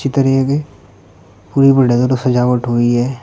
चित्र यह है कि पूरे सजावट हुई है।